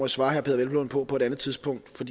svare herre peder hvelplund på på et andet tidspunkt for